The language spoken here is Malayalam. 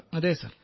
അതെ സർ